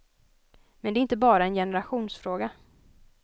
Men det är inte bara en generationsfråga.